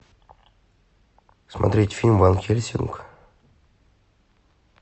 смотреть фильм ван хельсинг